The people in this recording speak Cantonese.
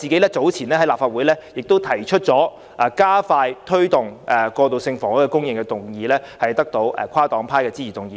我早前在立法會亦提出加快推動過渡性房屋供應的議案，並得到跨黨派議員的支持通過。